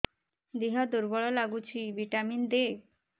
ଦିହ ଦୁର୍ବଳ ଲାଗୁଛି ଭିଟାମିନ ଦେ